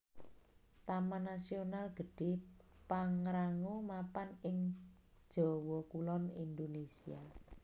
Taman Nasional Gede Pangrango mapan ana ing Jawa Kulon Indonésia